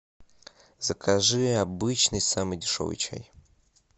закажи обычный самый дешевый чай